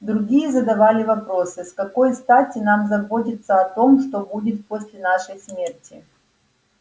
другие задавали вопросы с какой стати нам заботиться о том что будет после нашей смерти